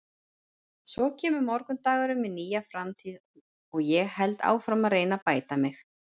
Svo kemur morgundagurinn með nýja framtíð og ég held áfram að reyna að bæta mig.